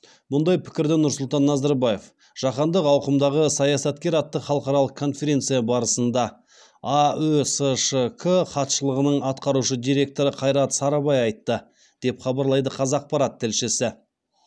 мұндай пікірді нұрсұлтан назарбаев жаһандық ауқымдағы саясаткер атты халықаралық конференция барысында аөсшк хатшылығының атқарушы директоры қайрат сарыбай айтты деп хабарлайды қазақпарат тілшісі